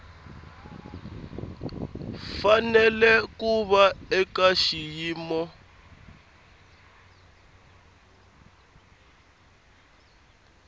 fanele ku va eka xiyimo